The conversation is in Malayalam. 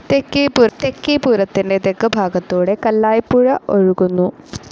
തെക്കേപുരത്തിൻ്റെ തെക്കുഭാഗത്തൂടെ കല്ലായിപ്പുഴ ഒഴുകുന്നു.